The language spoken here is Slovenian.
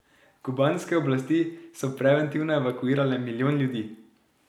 Kubanske oblasti so preventivno evakuirale milijon ljudi.